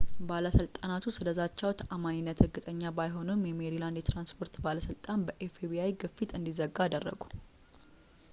ባለሥልጣናቱ ስለ ዛቻው ተዓማኒነት እርግጠኛ ባይሆኑም ፣ የሜሪላንድ የትራንስፖርት ባለሥልጣን በኤፍ.ቢ.አይ. fbi ግፊት እንዲዘጋ አደረጉ